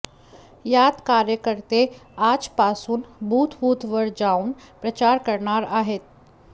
यात कार्यकर्ते आजपासून बूथबूथ वर जाऊन प्रचार करणार आहेत